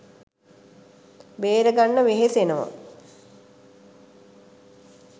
බේරගන්න වෙහෙසනවා